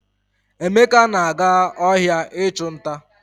Emeka na-aga ohia ichu nta.